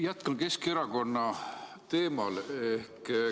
Jätkan Keskerakonna teemal.